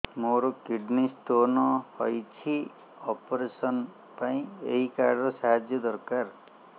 ମୋର kidney stone ହଇଛି operation ପାଇଁ ଏହି କାର୍ଡ ର ସାହାଯ୍ୟ ଦରକାର